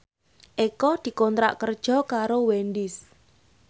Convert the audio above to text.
Eko dikontrak kerja karo Wendys